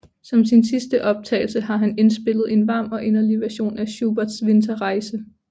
Som sin sidste optagelse har han indspillet en varm og inderlig version af Schuberts Winterreise